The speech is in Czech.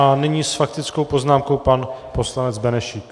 A nyní s faktickou poznámkou pan poslanec Benešík.